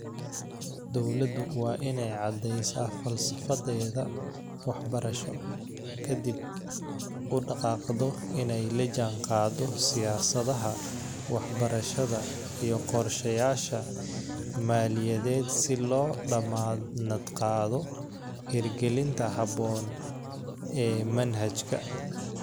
Dawladdu waa inay caddaysaa falsafadeeda waxbarasho, ka dibna, u dhaqaaqdo inay la jaanqaado siyaasadaha waxbarashada iyo qorshayaasha maaliyadeed si loo dammaanad qaado hirgelinta habboon ee manhajka.